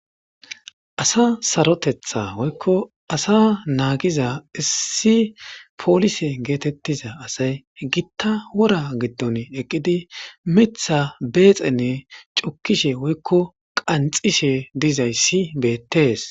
Asa saroteththa woykko asa naagiza issi polise geetetiza asay gita wora giddon eqqidi miththa beyxxen cukkishe woykko qanxxishe dizayssi beettees.